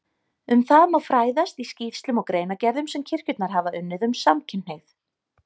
Um það má fræðast í skýrslum og greinargerðum sem kirkjurnar hafa unnið um samkynhneigð.